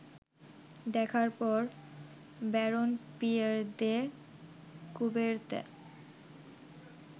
দেখার পর Baron Pierre de Coubertin